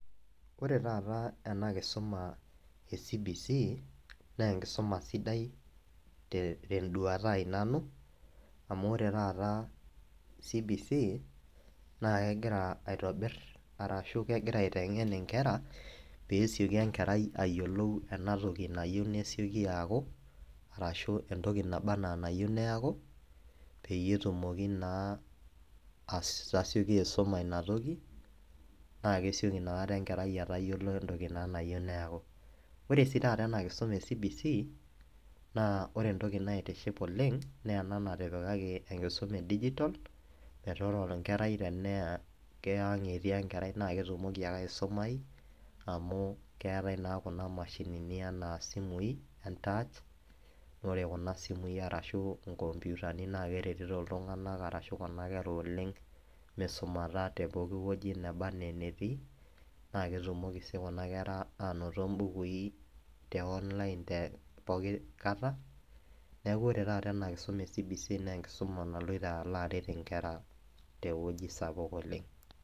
Ore taata ena enkisuma ecbc naa enkisuma sidai te tenduata ai nanu amu ore taata cbc naa kegira aitobir arashu kegira aitengen inkera pesioki enkerai ayiolou ena toki nayieu neeaku arashu entoki naba naa neyieu neaku peyie naa etumoki atasioki aisuma ina toki naa kesioki inakata enkerai atayiolo entoki nayieu neaku. Ore sii taata ena kisuma ecbc naa ore entoki naitiship oleng naa ena natipikaki enkisuma edigital meetaa ore enkerai tenaa keyang etii enkerai naa ketumoki ake aisumayu amu keetae naa kuna mashinini enaasimui entouch naa ore kuna simui ashu inkomputani arashu kuna kera oleng misumata tepooki wueji neba anaa enetii naa ketumoki sii kuna kera anotito imbukui teonline pooki kata , niaku ore taata ena kisuma ecbc naa enkisuma naloito alo aret inkera tewueji sapuk oleng.